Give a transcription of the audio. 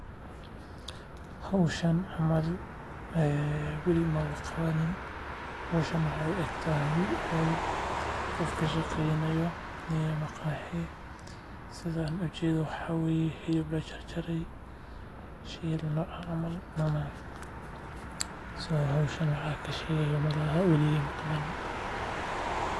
Hawshan camal ee Wilima wa kawanin hawshano ayuu aagta yahay, hol qofka shaqeeynayo niye maqaahiy sidaan u jeedo waxa wiiyo, hilib loo jar jarey sheey nooca camal nocan. So howshan waxaa ka sheega malaha wali iyo imaqaban.